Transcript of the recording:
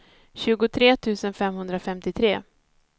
tjugotre tusen femhundrafemtiotre